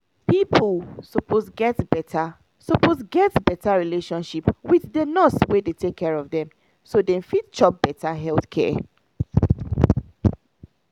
people suppose get better suppose get better relationship wit di nurse wey dey take care of dem so dem fit chop better health care.